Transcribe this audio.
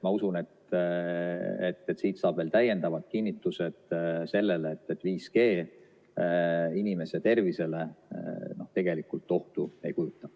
Ma usun, et siit saab veel täiendavalt kinnitust sellele, et 5G inimese tervisele tegelikult ohtu ei kujuta.